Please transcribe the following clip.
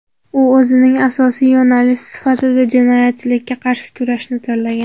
U o‘zining asosiy yo‘nalishi sifatida jinoyatchilikka qarshi kurashni tanlagan.